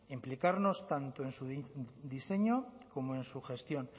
implicarnos tanto en su diseño como en su gestión